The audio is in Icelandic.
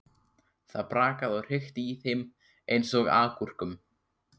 Það brakaði og hrikti í þeim eins og agúrkum.